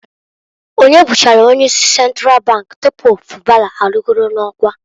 Onye bụchara onye isi Sentral bank tupu Fubara arịgolu n'ọkwa?